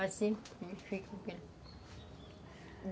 Assim